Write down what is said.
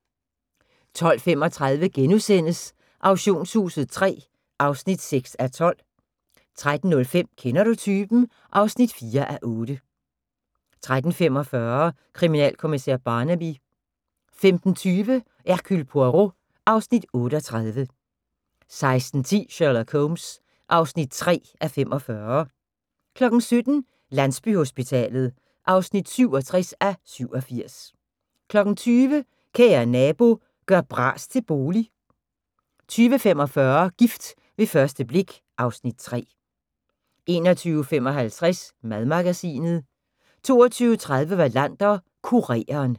12:35: Auktionshuset III (6:12)* 13:05: Kender du typen? (4:8) 13:45: Kriminalkommissær Barnaby 15:20: Hercule Poirot (Afs. 38) 16:10: Sherlock Holmes (3:45) 17:00: Landsbyhospitalet (67:87) 20:00: Kære nabo – gør bras til bolig 20:45: Gift ved første blik (Afs. 3) 21:55: Madmagasinet 22:30: Wallander: Kureren